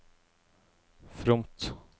fromt